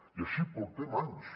i així portem anys